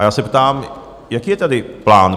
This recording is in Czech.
A já se ptám, jaký je tady plán?